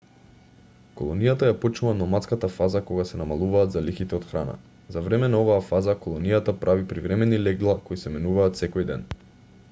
колонијата ја почнува номадската фаза кога се намалуваат залихите од храна за време на оваа фаза колонијата прави привремени легла кои се менуваат секој ден